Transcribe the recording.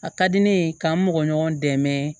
A ka di ne ye k'an mɔgɔ ɲɔgɔn dɛmɛ